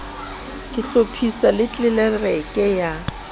ka hlophiswa le tlelereke ya